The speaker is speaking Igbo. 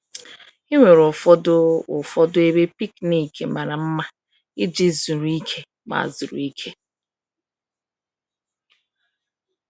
E nwere ụfọdụ ụfọdụ ebe picnic mara mma iji zuru ike ma zuru ike.